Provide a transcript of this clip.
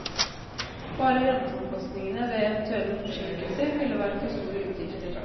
Bare renteomkostningene ved eventuelle forsinkelser ville være for store utgifter.